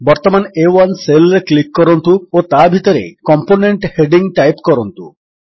ବର୍ତ୍ତମାନ ଆ1 ସେଲ୍ ରେ କ୍ଲିକ୍ କରନ୍ତୁ ଓ ତା ଭିତରେ କମ୍ପୋନେଣ୍ଟ ହେଡିଙ୍ଗ୍ ଟାଇପ୍ କରନ୍ତୁ